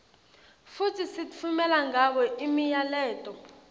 futsi sitfumela ngabo imiyaleto